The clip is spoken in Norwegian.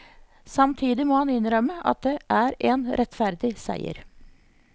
Samtidig må han innrømme at det er en rettferdig seier.